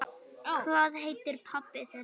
Hvað heitir pabbi þinn?